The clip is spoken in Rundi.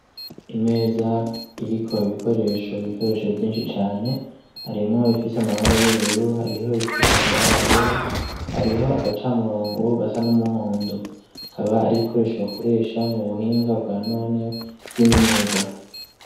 Imeza iriko ibikoresho bikoresho vyinshi cane arimwo bifise amabara y'ubururu hariho bifise amabara yera hariho agaca murongo gasa n'umuhondo kaba ari ibikoresho bakoresha mu buhinga bwa none bw'imyuga.